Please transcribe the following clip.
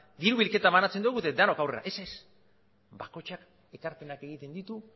diru bilketa banatzen dogu eta danok aurrera ez ez bakoitzak ekarpenak egiten ditu